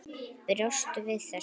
Bjóstu við þessu?